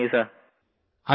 thank you सिर